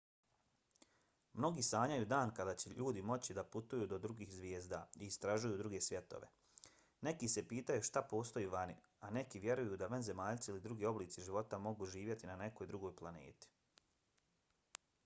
mnogi sanjaju dan kada će ljudi moći da putuju do drugih zvijezda i istražuju druge svjetove. neki se pitaju šta postoji vani a neki vjeruju da vanzemaljci ili drugi oblici života mogu živjeti na nekoj drugoj planeti